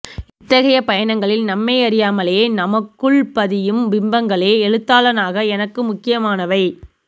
இத்தகைய பயணங்களில் நம்மையறியாமலேயே நமக்குள் பதியும் பிம்பங்களே எழுத்தாளனாக எனக்கு முக்கியமானவை